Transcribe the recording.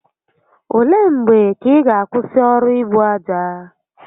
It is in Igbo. Ole mgbe ka ị ga akwụsị ọrụ ibu aja?